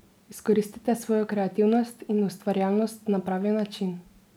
Izkoristite svojo kreativnost in ustvarjalnost na pravi način.